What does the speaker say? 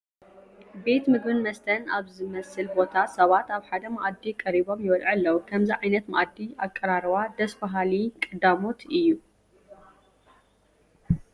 ቤት ምግብን መስተን ኣብ ዝመስል ቦታ ሰባት ኣብ ሓደ መኣዲ ቀሪቦም ይበልዑ ኣለዉ፡፡ ከምዚ ዓይነት መኣዲ ኣቀራርባ ደስ በሃሊ ባህሊ ቀዳሞት እዩ፡፡